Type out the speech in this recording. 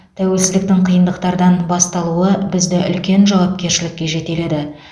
тәуелсіздіктің қиындықтардан басталуы бізді үлкен жауапкершілікке жетеледі